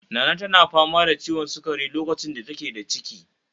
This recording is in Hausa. Nana tana fama da ciwon sukari lokacin da take da ciki